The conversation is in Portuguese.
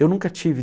Eu nunca tive.